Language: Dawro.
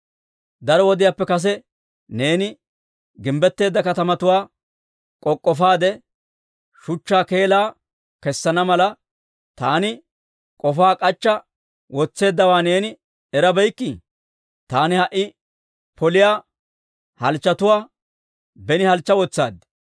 « ‹Daro wodiyaappe kase neeni gimbbetteedda katamatuwaa k'ok'k'ofaade, Shuchchaa keelaa kessana mala, taani k'ofaa k'achcha wotseeddawaa neeni erabeykkii? Taani ha"i poliyaa halchchotuwaa beni halchcha wotsaad.